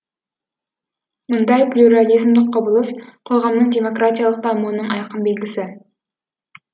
мұндай плюрализмдік құбылыс қоғамның демократиялық дамуының айқын белгісі